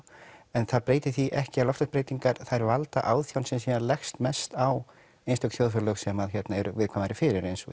en það breytir því ekki að loftslagsbreytingar þær valda áþján sem síðan leggjast mest á einstök þjóðfélög sem eru viðkvæmari fyrir eins og